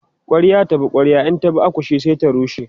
kwarya ta bi kwarya in ta bi akushe sai ta rushe